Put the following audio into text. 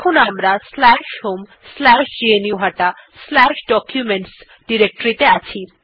আমরা এখন homegnuhataDocuments directory তে আছি